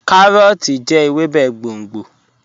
Kàróòtì jẹ̀ èwèbé gbóngbó.